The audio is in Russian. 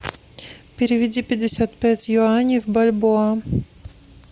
переведи пятьдесят пять юаней в бальбоа